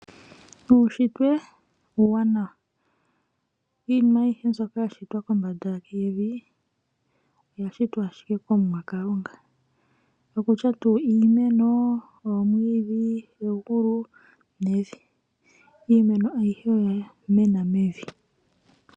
Uunshitwe uuwanawa . Iinima aihe mbyoka yashitwa kombanda yevi , oya shitwa ashike kOmuwa Kalunga, ongaashi iimeno, oomwiidhi, egulu nevi . Iimeno aihe oya mena mevi.